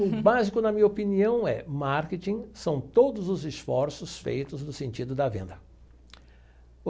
O básico, na minha opinião, é marketing são todos os esforços feitos no sentido da venda.